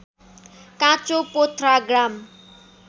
काँचो पोथ्रा ग्राम